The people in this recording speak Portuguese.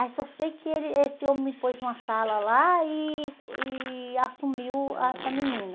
Aí só sei que ele esse homem me pôs numa sala lá e e assumiu ah essa menina.